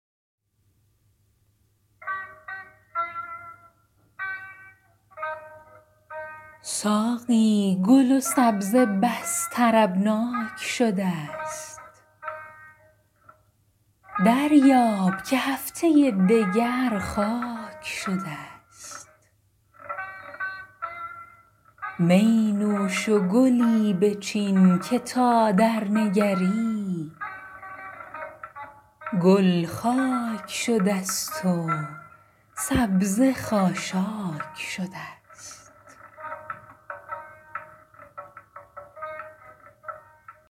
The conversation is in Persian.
ساقی گل و سبزه بس طربناک شده ست دریاب که هفته دگر خاک شده ست می نوش و گلی بچین که تا درنگری گل خاک شده ست و سبزه خاشاک شده ست